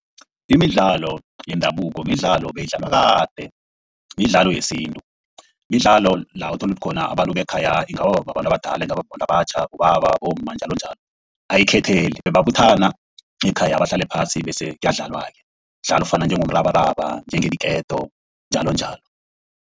Imidlalo yendabuko midlalo beyidlalwa kade midlalo yesintu. Midlalo la uthola khona abantu bekhaya, ingaba babantu abadala ingaba babantu abatjha, bobaba, bomma njalonjalo ayikhetheli. Bebabuthana ekhaya bahlale phasi bese kuyadlalwa-ke. Umdlalo ofana njengomrabaraba, njengeenketo njalonjalo.